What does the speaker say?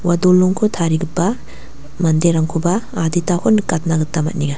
ua dolongko tarigipa manderangkoba aditako nikatna gita man·enga.